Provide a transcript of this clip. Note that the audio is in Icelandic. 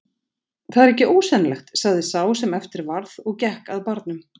Það er ekki ósennilegt sagði sá sem eftir varð og gekk að barnum.